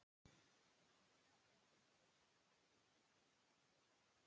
Otur, ég kom með tuttugu og fimm húfur!